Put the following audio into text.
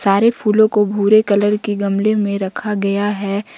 सारे फूलों को भूरे कलर के गमले में रखा गया है।